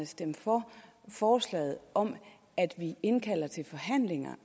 stemme for forslaget om at vi indkalder til forhandlinger